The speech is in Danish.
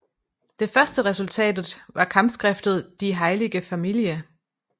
Det første resultatet var kampskriftet Die heilige Familie